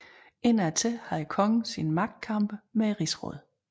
Indad til havde kongen sine magtkampe med rigsrådet